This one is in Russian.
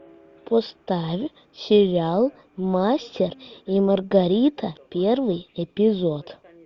поставь сериал мастер и маргарита первый эпизод